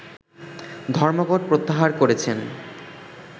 ধর্মঘট প্রত্যাহার করেছেন